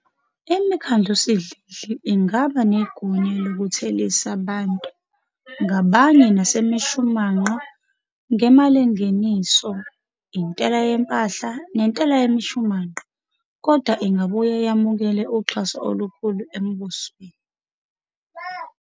Imikhandlusidlidli ingaba negunya lokuthelisa bantu ngabanye nasemishumanqa ngemalingeniso, intela yempahla, nentela yemishumanqa, kodwa ingabuye yamukele uxhaso olukhulu embusweni.